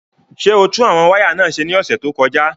Ṣé o tún àwọn wáyà náà ṣe ní ọ̀sẹ̀ tó kọjá?